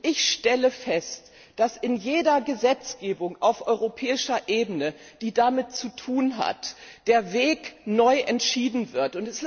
Ich stelle fest, dass in jeder Gesetzgebung auf europäischer Ebene, die damit zu tun hat, der Weg neu entschieden wird.